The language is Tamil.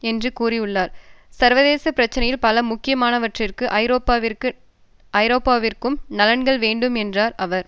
என்று கூறியுள்ளார் சர்வதேச பிரச்சினையில் பல முக்கியமானவற்றிற்கு ஐரோப்பாவிற்கு நலன்கள் வேண்டும் என்றார் அவர்